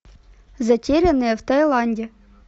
затерянные в таиланде